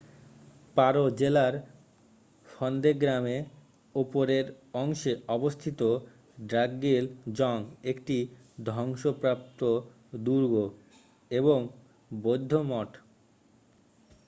পারো জেলার ফন্দে গ্রামে উপরের অংশে অবস্থিত ড্রাকগিল জং একটি ধ্বংসপ্রাপ্ত দুর্গ এবং বৌদ্ধ মঠ।